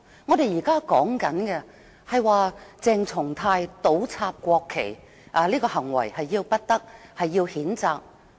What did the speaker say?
我們現在討論的是，鄭松泰議員倒插國旗的行為要不得，須要譴責。